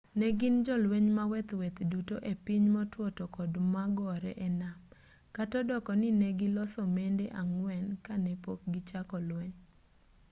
negin jolweny maweth maweth duto e piny motwo tokod magore e nam kata odoko ni negiloso mende ang'wen kanepok gichako lweny